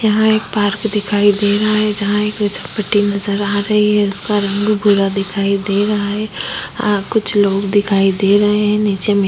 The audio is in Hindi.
यहाँ एक पार्क दिखाई दे रहा है जहां एक फिसलपट्टी नज़र आ रही है उसका रंग भूरा दिखाई दे रहा है और कुछ लोग दिखाई दे रहे हैं नीचे में--